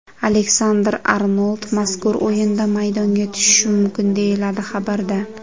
Aleksandr-Arnold mazkur o‘yinda maydonga tushishi mumkin, deyiladi xabarda.